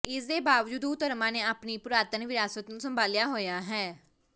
ਇਸ ਦੇ ਬਾਵਜੂਦ ਉਹ ਧਰਮਾਂ ਨੇ ਆਪਣੀ ਪੁਰਾਤਨ ਵਿਰਾਸਤ ਨੂੰ ਸੰਭਾਲਿਆ ਹੋਇਆ ਹੈ